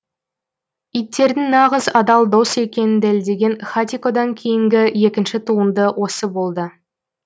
иттердің нағыз адал дос екенін дәлелдеген хатикодан кейінгі екінші туынды осы болды